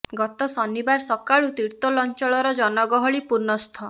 ଗତ ଶନିବାର ସକାଳୁ ତିର୍ତ୍ତୋଲ ଅଞ୍ଚଳର ଜନଗହଳି ପୂର୍ଣ୍ଣ ସ୍ଥ୍